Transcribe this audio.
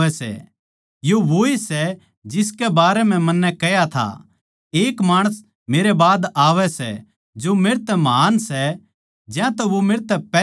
यो वोए सै जिसकै बारै म्ह मन्नै कह्या था एक माणस मेरै बाद आवै सै जो मेरतै महान् सै ज्यातै वो मेरतै पैहल्या था